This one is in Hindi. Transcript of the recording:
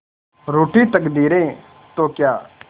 रूठी तकदीरें तो क्या